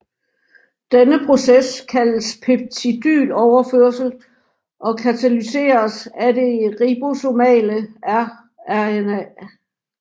Denne proces kaldes peptidyloverførsel og katalyseres af det ribosomale rRNA